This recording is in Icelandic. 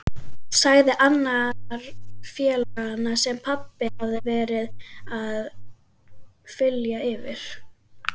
sagði annar félaganna sem pabbi hafði verið að þylja yfir.